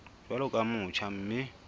jwalo ka o motjha mme